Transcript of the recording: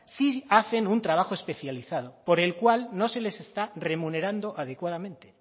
sí hacen un trabajo especializado por el cual no se les está remunerando adecuadamente